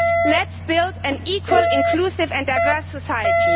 Let us build an equal, inclusive and diverse society.